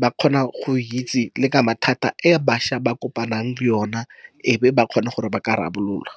Ba kgona go itse le ka mathata a bašwa ba kopanang le ona, e be ba kgone gore ba ka rarabolola.